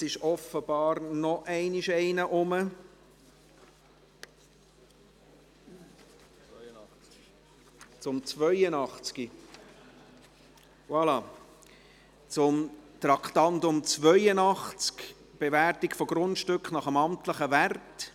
Und jetzt ist offenbar noch einmal ein Ordnungsantrag unterwegs, zum Traktandum 82, «Bewertung von Grundstücken nach dem amtlichen Wert».